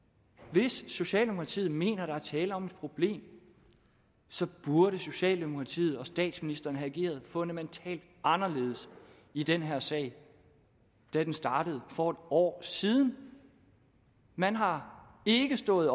hvis socialdemokratiet mener der er tale om et problem så burde socialdemokratiet og statsministeren have ageret fundamentalt anderledes i den her sag da den startede for en år siden man har ikke stået